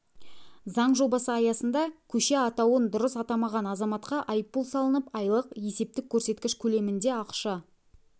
заң жобасы аясында көше атауын дұрыс атамаған азаматқа айыппұл салынып айлық есептік көрсеткіш көлемінде ақша